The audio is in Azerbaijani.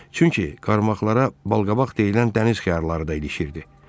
Çünki qarmaqlara balqabaq deyilən dəniz xiyarları da ilişirdi.